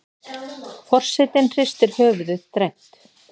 Forsetinn hristir höfuðið dræmt.